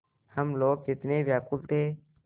हम लोग कितने व्याकुल थे